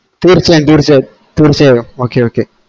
തീർച്ചയായും തീർച്ചയായും തീർച്ചയായും okay okay